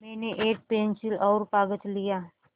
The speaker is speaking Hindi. मैंने एक पेन्सिल और कागज़ लिया